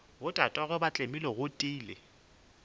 botatagwe ba tlemile go tiile